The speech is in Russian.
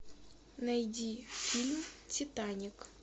найди фильм титаник